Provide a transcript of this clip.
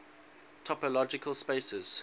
topological spaces